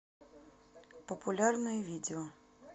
популярное видео